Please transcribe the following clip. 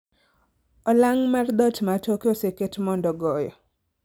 Olang' mar dhoot ma toke oseket mondo goyo